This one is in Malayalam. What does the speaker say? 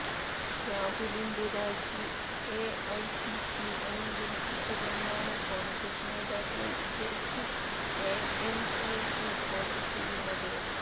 രാഹുലിന്റെ രാജി എഐസിസി അംഗീകരിച്ചിട്ടില്ലെന്നാണ് കോണ്ഗ്രസ് നേതാക്കളെ ഉദ്ധരിച്ച് എഎന്ഐ റിപ്പോര്ട്ട് ചെയ്യുന്നത്